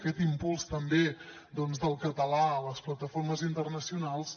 aquest impuls també del català a les plataformes internacionals